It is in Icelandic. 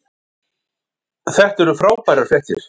Þetta eru frábærar fréttir